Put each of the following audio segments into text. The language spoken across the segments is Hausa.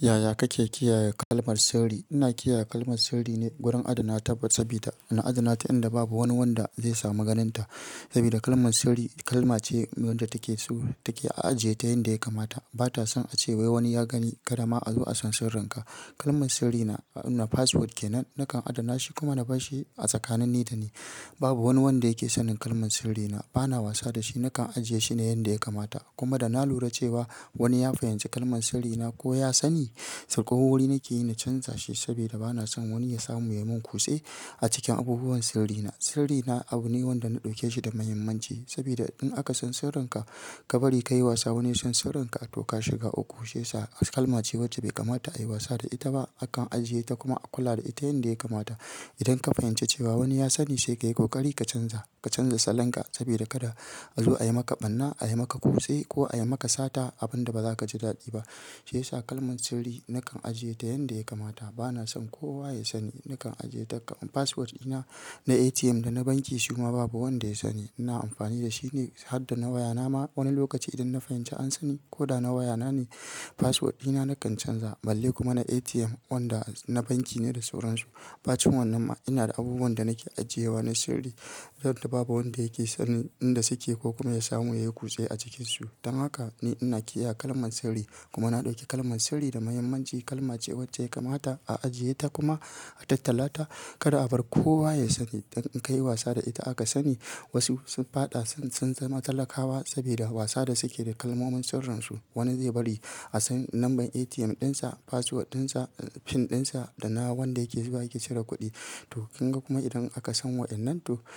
Yaya kake kiyaye kalmar sirri? Ina kiyaye kalmar sirri ne wurin adana ta sabida ina adana ta inda babu wani wanda zai samu ganin ta. Sabida kalman sirri kalma ce wadda take a ajiye ta yanda ya kamata. Ba ta son a ce wai wani ya gani karama a zo a san sirrinka. Kalman sirri na password ke nan nakan adana shi kuma na bar shi a tsakanin ni da ni. Babu wane wanda yakisa sanin kalmar sirrina, bana wasa dashi nakan aje shine inda yakama ta. Kuma da na lura cewa wani ya fahimci kalman sirri na ko ya sani, sai ƙaho wuri nake yi na canza shi sabida bana son wani ya samu ya yi min kutse a cikin abubuwan sirri na. Sirri na abu ne wanda na ɗauke shi da muhimmanci sabida in aka san sirrinka kabari kaye wasa wane yasan sirrinka tuh gashiga uku. Shi yasa kalma ce wacce bai kamata a yi wasa da ita ba. Akan ajiye ta kuma a kula da ita yanda ya kamata. Idan ka fahimci cewa wani ya sani sai ka yi ƙoƙari ka canza, ka canza salonka sabida kada a zo ayi maka ɓarna, ayi maka kutse ko ayi maka sata abun da ba za ka ji daɗi ba. Shi yasa kalman sirri nakan ajiye ta yanda ya kamata. Bana son kowa ya sani. Nakan ajiye ta password ina na ATM da na banki kuma babu wanda ya sani. Ina amfani da shine hadda na wayana ma wane lokacin idan na fahinci an sane kuda na waya nane. Password dina nakan canza balle kuma na ATM wanda yanda yakamata da sauransu. Ba cin wannan ma ina da abubuwan da nake ajiye wa ne sirri don da babu wanda yake sanin inda suke ko kuma ya samu ya yi kutse a cikin su. Dan haka ne ina kiyaye kalman sirri kuma na ɗauke kalman sirri da muhimmanci. Kalma ce wacce ya kamata a ajiye ta kuma a tattalata kada a bar kowa ya sani. Idan in ka yi wasa da ita aka sani wasu sun faɗa sun zama talakawa sabida wasa da suke da kalmomin sirrin su. Wani zai bari a san number ATM dinsa password dinsa pin dinsa da na wanda yake zuwa yake cire kuɗi. Shi yasa kalman sirri nakan ajiye ta yanda ya kamata.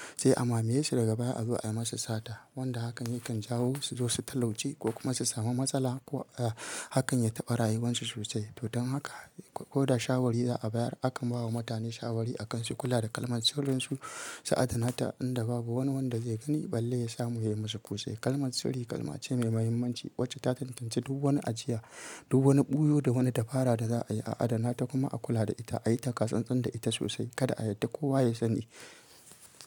Bana son kowa ya sani. Nakan ajiye ta password ina na ATM da na banki kuma babu wanda ya sani. Wanda hakan yakan jawo su zo su talauci ko kuma su samu matsala ko hakan ya taɓa rayuwarsu sosai. To don haka ko da shawari za'a bayar akan bawa mutane shawari akan su kula da kalman sirrin su su adana ta inda babu wani wanda zai gani balle ya samu ya yi musu kutse. Kalman sirri kalma ce mai muhimmanci wacce ta tantance duk wani ajiya, duk wani ɓuyo da wani tafara da za'a yi a adana ta kuma a kula da ita. Ayi ta tsan tsan da ita sosai kada a yadda kowa ya sani.